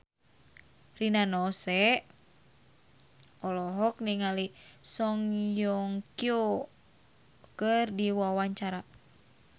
Rina Nose olohok ningali Song Hye Kyo keur diwawancara